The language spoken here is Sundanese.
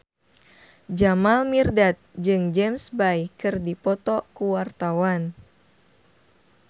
Jamal Mirdad jeung James Bay keur dipoto ku wartawan